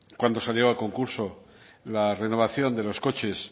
cuando salió a concurso la renovación de los coches